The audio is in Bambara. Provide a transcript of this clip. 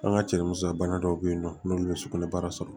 An ka cɛ musoya bana dɔw be yen nɔ n'olu ye sugunɛbara sɔrɔ